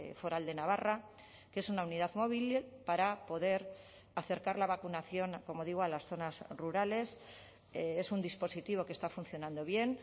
foral de navarra que es una unidad móvil para poder acercar la vacunación como digo a las zonas rurales es un dispositivo que está funcionando bien